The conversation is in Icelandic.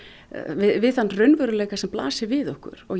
við þann raunveruleika sem blasir við okkur og